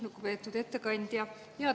Lugupeetud ettekandja!